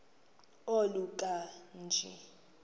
oluka ka njl